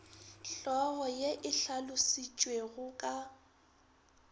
hlogo ye e hlalositšwego ka